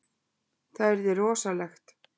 Það yrði rosalegt.